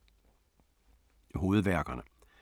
Hovedværkerne